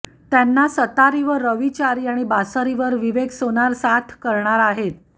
त्यांना सतारीवर रवी चारी आणि बासरीवर विवेक सोनार साथ करणार आहेत